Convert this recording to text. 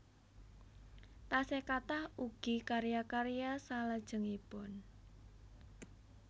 Taksih kathah ugi karya karya salajengipun